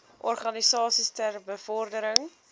organisasies ter bevordering